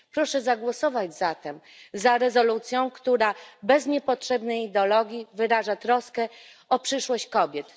Proszę zagłosować zatem za rezolucją, która bez niepotrzebnej ideologii wyraża troskę o przyszłość kobiet.